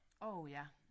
Åh ja